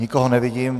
Nikoho nevidím.